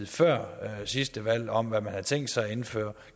før sidste valg om at man havde tænkt sig at indføre